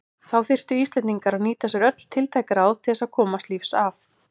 Þá þurftu Íslendingar að nýta sér öll tiltæk ráð til þess að komast lífs af.